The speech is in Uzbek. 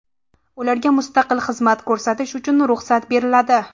Ularga mustaqil xizmat ko‘rsatish uchun ruxsat beriladi.